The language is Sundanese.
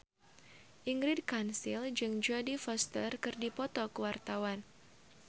Ingrid Kansil jeung Jodie Foster keur dipoto ku wartawan